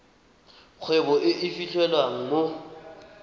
kgwebo e e fitlhelwang mo